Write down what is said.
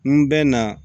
N bɛ na